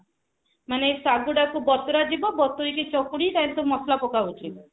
ମାନେ ସାଗୁ ଟାକୁ ବତୁରା ଯିବ ବତୁରିକି ଚକୁଡି ତା ଭିତରେ ମସଲା ପକାଯାଉଛି